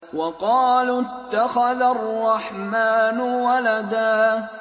وَقَالُوا اتَّخَذَ الرَّحْمَٰنُ وَلَدًا